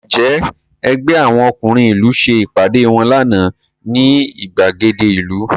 Ǹjẹ́ ẹgbẹ́ àwọn ọkùnrin ìlú ṣe ìpàdé wọn lánàá ní ìgbàgede ìlú?